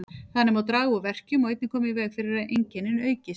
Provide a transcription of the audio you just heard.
Þannig má draga úr verkjum og einnig koma í veg fyrir að einkennin aukist.